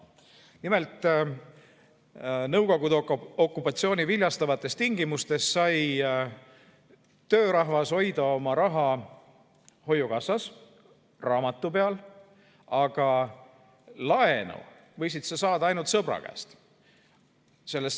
Nimelt, Nõukogude okupatsiooni viljastavates tingimustes sai töörahvas hoida oma raha hoiukassas raamatu peal, aga laenu võisid saada ainult sõbra käest.